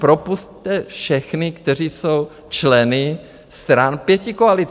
Propusťte všechny, kteří jsou členy stran pětikoalice.